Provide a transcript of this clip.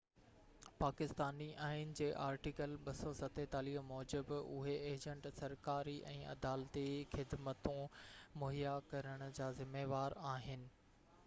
پاڪستاني آئين جي آرٽيڪل 247 موجب اهي ايجنٽ سرڪاري ۽ عدالتي خدمتون مهيا ڪرڻ جا ذميوار آهن